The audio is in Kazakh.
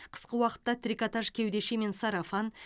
қысқы уақытта трикотаж кеудеше мен сарафан